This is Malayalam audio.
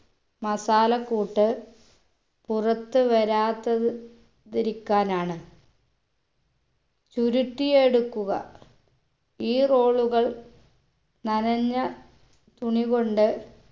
masala കൂട്ട് പുറത്ത് വരാത്ത തിരിക്കാനാണ് ചുരുട്ടിയെടുക്കുക ഈ roll കൾ നനഞ്ഞ തുണി കൊണ്ട്